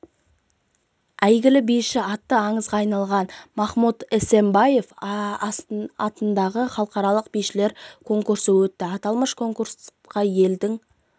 әйгілі биші аты аңызға айналған махмуд эсамбаев атындағы халықаралық бишілер конкурсы өтті аталмыш конкурсқа елдің